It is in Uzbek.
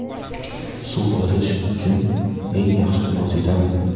Suv ozish uchun eng yaxshi vositami?.